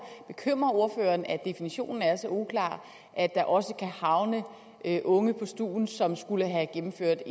bekymrer ordføreren at definitionen er så uklar at der også kan havne unge på stuen som skulle have gennemført